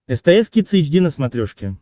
стс кидс эйч ди на смотрешке